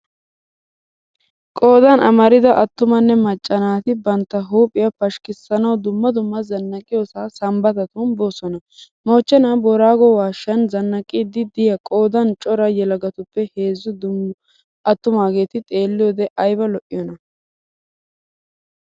Qoodan amarida attumanne macca naati bantta huuphphiya pashshikisanawu dumma dumma zanaqiyosaa sambbatatun boosona. Mochenaa booraago waashshan zanaqqiiddi diya qoodan cora yelagatuppe heezzu attumaageti xeelliyode ayba lo'iyoona!